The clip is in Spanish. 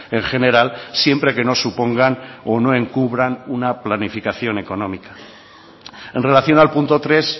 en general siempre que no supongan o no encubran una planificación económica en relación al punto tres